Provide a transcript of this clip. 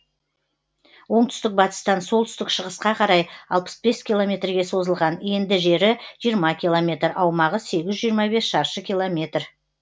оңтүстік батыстан солтүстік шығысқа қарай алпыс бес километрге созылған енді жері жиырма километр аумағы сегіз жүз жиырма бес шаршы километр